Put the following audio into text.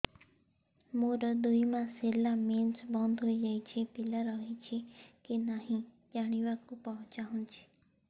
ମୋର ଦୁଇ ମାସ ହେଲା ମେନ୍ସ ବନ୍ଦ ହେଇ ଯାଇଛି ପିଲା ରହିଛି କି ନାହିଁ ଜାଣିବା କୁ ଚାହୁଁଛି